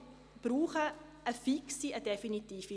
Wir brauchen eine fixe, eine definitive Lösung.